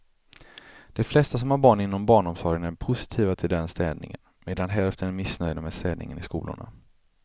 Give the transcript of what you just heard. De flesta som har barn inom barnomsorgen är positiva till den städningen, medan hälften är missnöjda med städningen i skolorna.